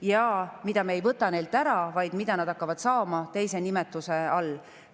Seda toetust me ei võta neilt ära, vaid nad hakkavad seda saama teise nimetuse all.